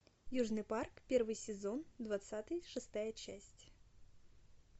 южный парк первый сезон двадцатый шестая часть